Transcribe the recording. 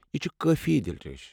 یہ چھِ کٲفی دِلرش۔